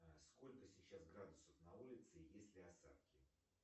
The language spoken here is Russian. сколько сейчас градусов на улице есть ли осадки